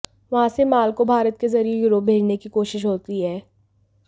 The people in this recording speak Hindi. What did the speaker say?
वहां से माल को भारत के ज़रिए यूरोप भेजने की कोशिश होती है